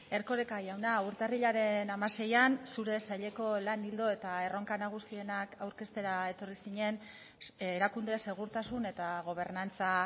erkoreka jauna urtarrilaren hamaseian zure saileko lan ildo eta erronka nagusienak aurkeztera etorri zinen erakunde segurtasun eta gobernantza